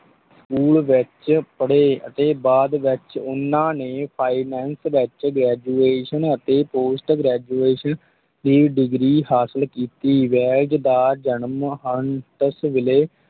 School ਵਿੱਚ ਪੜ੍ਹੇ ਅਤੇ ਬਾਅਦ ਵਿੱਚ ਉਹਨਾਂ ਨੇ finance ਵਿੱਚ graduation ਅਤੇ post graduation ਦੀ degree ਹਾਸਿਲ ਕੀਤੀ, ਵੇਲਜ਼ ਦਾ ਜਨਮ ਹੰਟਸਵਿਲੇ,